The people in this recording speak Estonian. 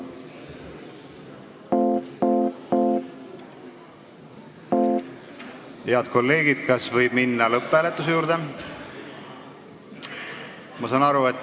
Head kolleegid, kas võib minna lõpphääletuse juurde?